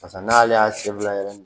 Pasa n'ale y'a yɛrɛ